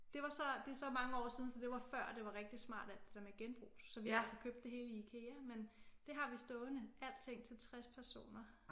Det var så det er så mange år siden så det var før det var rigtig smart alt det der med genbrug så vi har så købt det hele i Ikea men det har vi stående alting til 60 personer